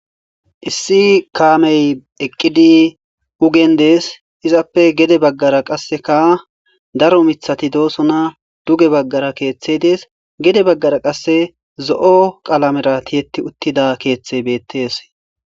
issi kaamey eqqidi ugen dees izappe gede baggara qasse ka daro mithati doosona duge baggara keeththe dees gede baggara qasse zo7o qalamera tiyeti uttida keeththey beettes